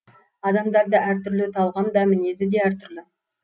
адамдар да әр түрлі талғам да мінез де әр түрлі